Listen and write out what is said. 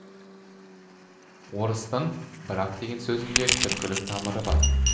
орыстың брак деген сөзінің де түркілік тамыры бар